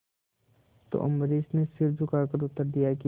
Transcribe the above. तो अम्बरीश ने सिर झुकाकर उत्तर दिया कि